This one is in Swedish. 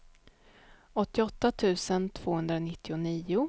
åttioåtta tusen tvåhundranittionio